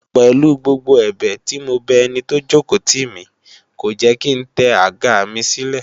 Pèlu gbogbo ẹ̀bẹ̀ tí mo bẹ ẹni tó jòkó tì mí, kò jẹ́ kí ń tẹ àga mi sílẹ̀